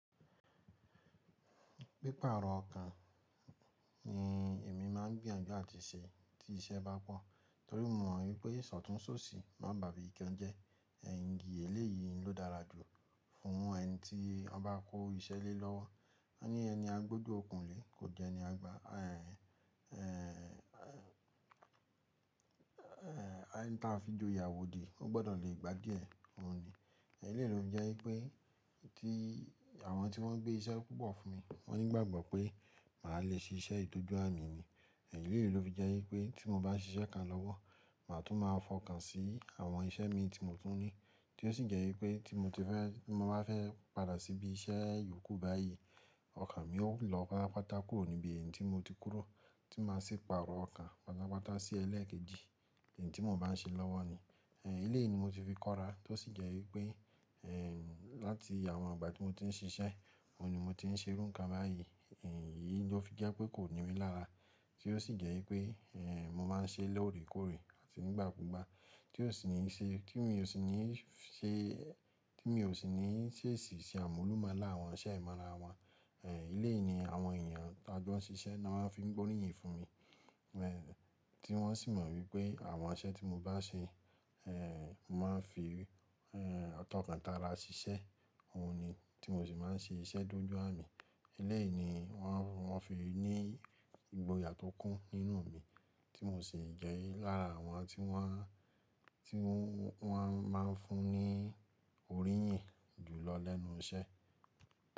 Pípààrọ̀ ọkàn ni èmi máà ń gbìyànjú àti ṣe tí iṣẹ́ bá pọ́n torí mo mọ̀ wípé ìsọ̀tún sóṣì má bàbí ìkẹ́ jẹ. Ẹ̀yìn gé èlé yìí ló dára jù fún ẹni tí ọba kó iṣẹ́ lélọ́wọ́. Ó ní ẹni agbódo òkun lè, kò jẹ́ ẹni a gbá. Ẹ̀hẹ̀ ẹ̀hẹ̀ ẹ́hẹ̀ ẹni tí a fi jo ìyàwó di, ó gbọ́dọ̀ le gbádìẹ́ òun ni. Ẹ̀yìn léèlo jẹ́ wípé tí àwọn tí wọ́n ń gbé iṣẹ́ púpọ̀ fún mi, wọ́n nígbàgbọ́ pé màá le ṣe iṣẹ́ ìdójú à mi ni. Ẹ̀yìn léèlo ló fi jẹ́ wípé tí mo bá ṣe iṣẹ́ kan lọ́wọ́, màá tún máa fọkàn sí àwọn iṣẹ́ mi tí mo tún ní tí ó sì jẹ́ wípé tí mo bá fẹ́ padà síbí iṣẹ́ yòókù báyìí, ọkàn mi ó lọ pátápátá kúrò níbi ẹni tí mo ti kúrò tí máa sì pàrọ̀ ọkàn pátápátá sí ẹlẹ́ẹ̀kejì ẹni tí mo bá ń ṣe lọ́wọ́ ni. Ẹ̀yìn léèyí ni mo ti fi kọ́ra tó sì jẹ́ wípé ẹ̀ tí láti àwọn ìgbà tí mo ti ń ṣiṣẹ́, òun ni mo ti ń ṣe irú nǹkan báyìí. Ẹ̀yìn yìí ló fi jẹ́ pé kò ní mí lára tí ó sì jẹ́ wípé ẹ̀ mo máa ń ṣe lórèkórè àti nígbà kúgbà tí ò sì ní ṣe tí mi ò sì ní ṣe tí mi ò sì ní ṣe èsì sí àmúlùmálà àwọn iṣẹ́ ìmọ̀ ara wọn. Ẹ̀yìn léèyí ni àwọn ènìyàn táa gbọ́n ṣiṣẹ́ ni wọ́n fi ń gbóríyìn fún mi. Ẹ̀ tí wọ́n sì mọ̀ wípé àwọn iṣẹ́ tí mo bá ṣe, ẹ̀ màá fi ẹ̀ tọkàn tààrà ṣiṣẹ́, òun ni tí mo sì máa ń ṣe iṣẹ́ dójú à mi. Ẹ̀yìn léèyìí ni wọ́n fi ń ní ìgboyà tó kún nínú mi tí mo sì jẹ́ lára àwọn tí wọ́n, tí wọ́n máa ń fún ní oríyìn jù lọ lẹ́nu iṣẹ́.